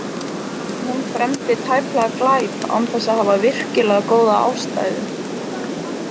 En hún fremdi tæplega glæp án þess að hafa virkilega góða ástæðu.